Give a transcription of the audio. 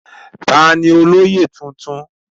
Taani olóyè ọ̀tún?